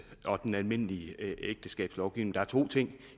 og den almindelige ægteskabslovgivning der er to ting